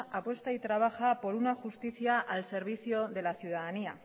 apuesta y trabaja por una justicia al servicio de la ciudadanía